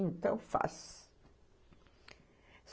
Então, faz.